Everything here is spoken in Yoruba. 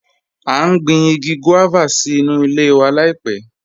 A n gbìn igi guávà sí nú ilẹ̀ wa laipẹ̀